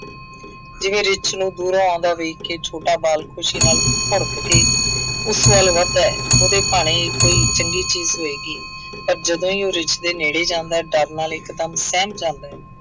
ਜਿਵੇਂ ਰਿੱਛ ਨੂੰ ਦੂਰੋਂ ਆਉਂਦਾ ਵੇਖ ਕੇ ਛੋਟਾ ਬਾਲ ਖੁਸ਼ੀ ਨਾਲ ਭੁੜਕ ਕੇ ਉਸ ਵੱਲ ਵੱਧਦਾ ਹੈ, ਉਹਦੇ ਭਾਣੇ ਕੋਈ ਚੰਗੀ ਚੀਜ਼ ਹੋਏਗੀ। ਪਰ ਜਦੋਂ ਉਹ ਰਿੱਛ ਦੇ ਨੇੜੇ ਜਾਂਦਾ ਹੈ, ਡਰ ਨਾਲ ਇੱਕ ਦਮ ਸਹਿਮ ਜਾਂਦਾ ਹੈ।